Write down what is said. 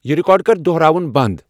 یِہ ریکارڈ کر دُہراوُن بند ۔